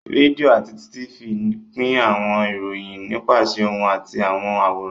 Rédíò àti Tifì pín àwọn ìròyìn nípasẹ̀ ohùn àti àwọn àwòrán